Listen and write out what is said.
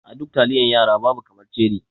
A duk taliyan yara babu kaman ceri.